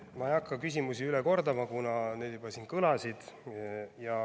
Ma ei hakka küsimusi üle kordama, kuna need siin juba kõlasid.